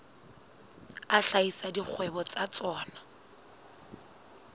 a hlahisa dikgwebo tsa tsona